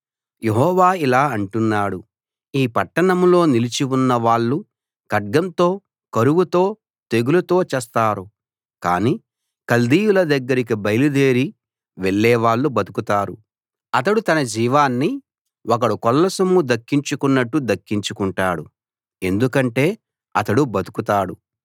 యెహోవా ఇలా అంటున్నాడు ఈ పట్టణంలో నిలిచి ఉన్న వాళ్ళు ఖడ్గంతో కరువుతో తెగులుతో చస్తారు కాని కల్దీయుల దగ్గరికి బయలుదేరి వెళ్ళేవాళ్ళు బతుకుతారు అతడు తన జీవాన్ని ఒకడు కొల్లసొమ్ము దక్కించుకున్నట్టు దక్కించుకుంటాడు ఎందుకంటే అతడు బతుకుతాడు